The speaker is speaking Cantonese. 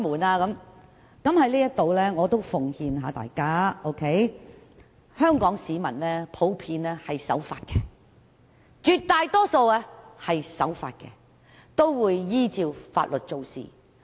我在這裏奉勸大家，香港市民普遍是守法的，絕大多數都是守法的，並會依法行事。